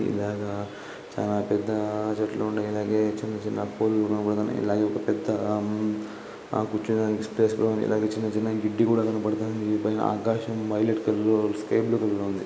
ఇలాగా చాలా పెద్ద చెట్లు ఉన్నాయి ఇలాగే చిన్నచిన్న పూలు కనపడుతున్నాయి ఇలాగే ఒక పెద్ద ఆ ఆ కూర్చోడానికి స్పేస్ కూడా ఉంది ఇలాగే చిన్న చిన్న గిడ్డు కూడా కనబడుతుంది ఆకాశం పైలెట్ కలర్ లో స్కై బ్లూ కలర్ లో ఉంది.